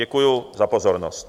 Děkuji za pozornost.